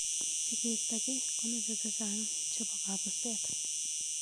Sikeisto kii komeche chechang cehbo kabuset.